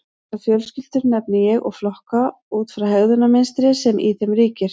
Þessar fjölskyldur nefni ég og flokka út frá hegðunarmynstrinu sem í þeim ríkir.